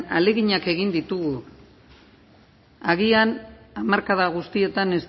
ahaleginak egin ditugu agian hamarkada guztietan